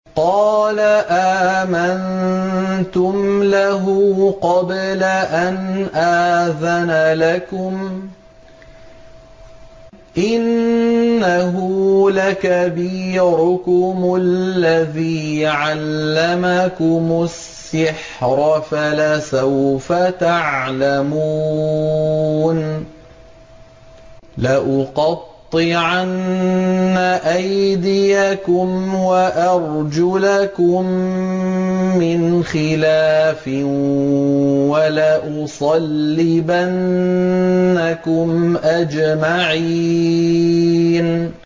قَالَ آمَنتُمْ لَهُ قَبْلَ أَنْ آذَنَ لَكُمْ ۖ إِنَّهُ لَكَبِيرُكُمُ الَّذِي عَلَّمَكُمُ السِّحْرَ فَلَسَوْفَ تَعْلَمُونَ ۚ لَأُقَطِّعَنَّ أَيْدِيَكُمْ وَأَرْجُلَكُم مِّنْ خِلَافٍ وَلَأُصَلِّبَنَّكُمْ أَجْمَعِينَ